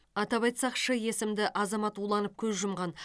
атап айтсақ ш есімді азамат уланып көз жұмған